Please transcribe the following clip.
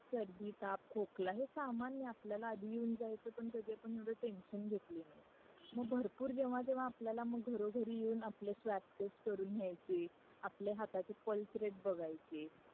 सर्दी ताप खोकला सामान्य आपल्याला आधी येऊन जायचा पण कधी आपण एवढा टेन्शन घेतली नाही मग भरपूर जेव्हा जेव्हा आपल्याला मग घरो घरी येऊन आपल्या स्वॅप टेस्ट करून न्याहचे आपल्या हाताचे पल्स रेट बघायचे